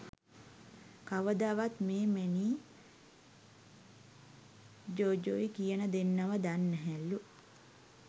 කවදාවත් මේ මැනීයි ජෝජොයි කියනදෙන්නව දන්නැහැලු.